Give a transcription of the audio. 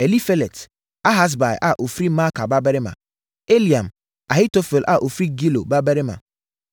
Elifelet, Ahasbai a ɔfiri Maaka babarima; Eliam, Ahitofel a ɔfiri Gilo babarima;